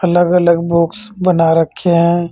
अलग अलग बॉक्स बना रखे है।